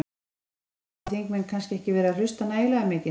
Er, er, hafa þingmenn kannski ekki verið að hlusta nægilega mikið?